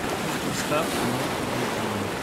поставь кино гудини